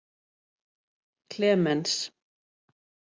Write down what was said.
Klemens